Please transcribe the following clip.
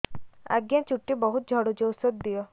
ଆଜ୍ଞା ଚୁଟି ବହୁତ୍ ଝଡୁଚି ଔଷଧ ଦିଅ